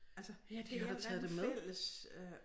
Altså et eller andet fælles øh